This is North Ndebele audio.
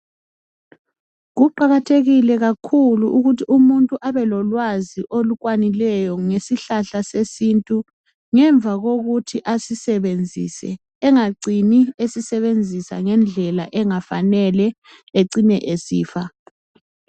Kuqakathekile kakhulu ukuthi umuntu abelolwazi olukwanileyo ngesihlahla sesintu ngemva kokuthi asisebenzise angacini esisebenzisa ngendlela engafanele acine esifa.